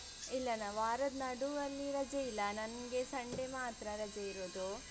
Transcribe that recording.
ಇಲ್ಲನ ವಾರದ ನಡುವಲ್ಲಿ ರಜೆ ಇಲ್ಲ ನಂಗೆ Sunday ಮಾತ್ರ ರಜೆ ಇರುದು.